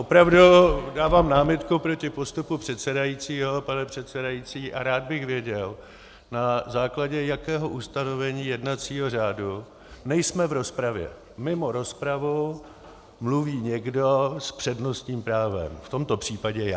Opravdu dávám námitku proti postupu předsedajícího, pane předsedající, a rád bych věděl, na základě jakého ustanovení jednacího řádu - nejsme v rozpravě - mimo rozpravu mluví někdo s přednostním právem, v tomto případě já.